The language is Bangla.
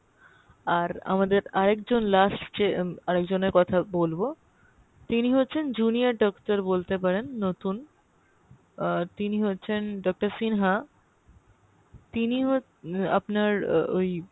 আর আমাদের আর একজন last যে আর একজন এর কথা বলবো তিনি হচ্ছেন junior doctor বলতে পারেন নতুন আহ তিনি হচ্ছেন doctor সিনহা তিনি হচ্ছে আপনার ও ওই